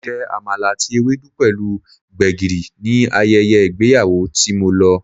Mo jẹ Àmàlà àti Ewedu pẹ̀lú gbegiri ní ayẹyẹ ìgbéyàwó tí mo lọ.